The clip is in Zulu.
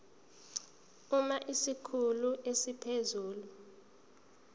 uma isikhulu esiphezulu